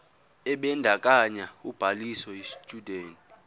ebandakanya ubhaliso yesitshudeni